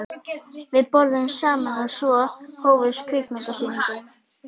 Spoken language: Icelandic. Við borðuðum saman og svo hófst kvikmyndasýningin.